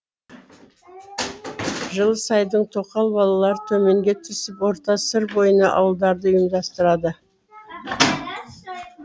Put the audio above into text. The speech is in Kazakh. жылысайдың тоқал балалары төменге түсіп орта сыр бойына ауылдарды ұйымдастырады